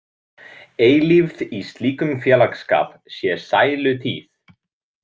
Eilífð í slíkum félagsskap sé sælutíð.